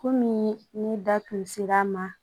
Kɔmi ni da tun ser'a ma